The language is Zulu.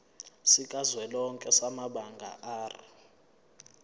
sikazwelonke samabanga r